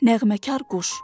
Nəğməkar quş.